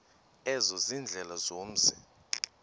ezo ziindlela zomzi